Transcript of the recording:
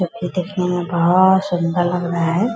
जो कि देखने में बहोत सुंदर लग रहा है।